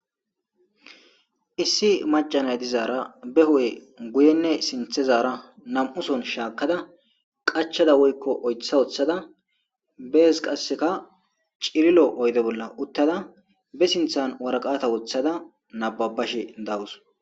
Issi macca naa dizara be hu'e guyenne sinthe zaara nam'uson shaakada qachada woyko oytha wothada bees qaseka cililo oyde bolla uttada be sinthan waraqata wothada nabbabashe dawus.